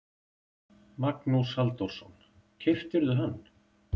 Magnús Halldórsson: Keyptirðu hann?